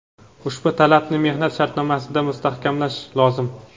Ushbu talabni mehnat shartnomasida mustahkamlash lozim.